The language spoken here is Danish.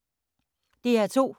DR2